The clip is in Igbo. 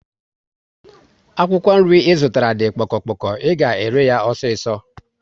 Akwụkwọ nri Ị zụtara di kpoko kpoko, ị ga ere yá osiso